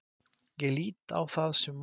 Ég lít á það sem val.